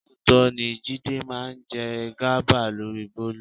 Lóòótọ́ ni Jídé máa ń jẹ gàba lórí Bólú.